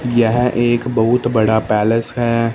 यह एक बहुत बड़ा पैलेस है।